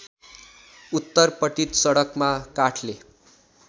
उत्तरपट्टि सडकमा काठले